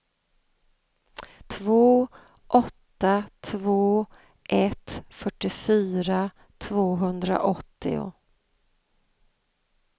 två åtta två ett fyrtiofyra tvåhundraåttio